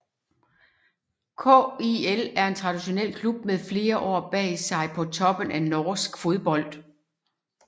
KIL er en traditionel klub med flere år bag sig på toppen af norsk fodbold